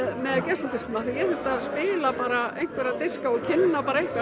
af geisladiskum af því ég þurfti að spila bara einhverja diska og kynna eitthvað